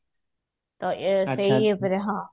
ତ ଇଏ ସେଇ ଉପରେ ହଁ